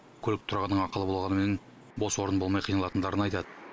көлік тұрағының ақылы болғанымен бос орын болмай қиналатындарын айтады